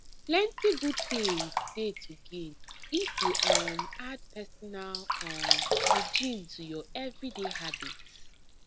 plenty good things dey to gain if you um add personal um hygiene to your everyday habits